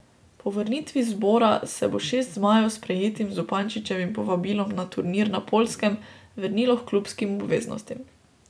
Po vrnitvi z zbora se bo šest zmajev s prejetim Zupančičevim povabilom za turnir na Poljskem vrnilo h klubskim obveznostim.